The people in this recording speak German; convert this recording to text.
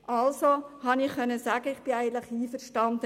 Deshalb bin ich mit der Abschreibung einverstanden.